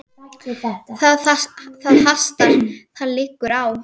Það hastar: það liggur á.